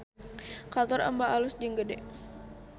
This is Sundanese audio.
Kantor Emba alus jeung gede